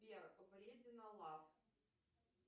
сбер вредина лав